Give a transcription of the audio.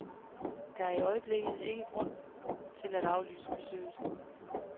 Der er ikke i øjeblikket grund til at aflyse besøget.